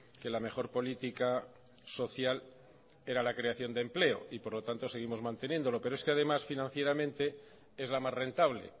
que la mejor política social era la creación de empleo y por lo tanto seguimos manteniéndolo pero es que además financieramente es la más rentable